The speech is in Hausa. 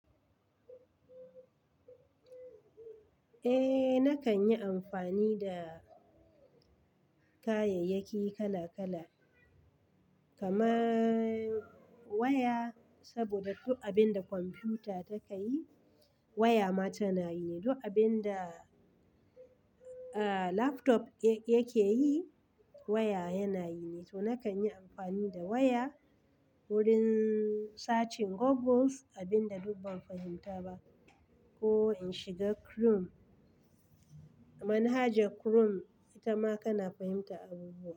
Eh, nakan yi amfani da kayayyaki kala kala. Kamar waya saboda duk abin da kwamfuta takayi waya ma tana yi nai Duk abin da aa laptop yake yi waya yana yi nai. To, nakan yi amfani da waya wurin searching Google abin da duk ban fahimta ba ko in shiga Chrome. Manhajar Chrome ita ma kana fahimtar abubuwa.